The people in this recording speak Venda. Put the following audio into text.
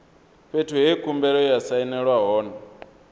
fhethu he khumbelo ya sainelwa hone